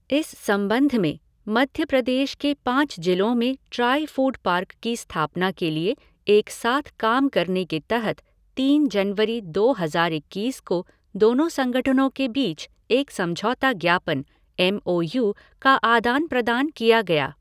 इस संबंध में, मध्य प्रदेश के पाँच जिलों में ट्राइफ़ूड पार्क की स्थापना के लिए एक साथ काम करने के तहत तीन जनवरी दो हजार इक्कीस को दोनों संगठनों के बीच एक समझौता ज्ञापन एम ओ यू का आदान प्रदान किया गया।